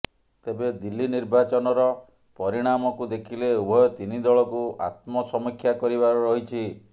ତେବେ ଦିଲ୍ଲୀ ନିର୍ବାଚନର ପରିଣାମକୁ ଦେଖିଲେ ଉଭୟ ତିନିଦଳକୁ ଆତ୍ମସମୀକ୍ଷା କରିବାର ରହିଛି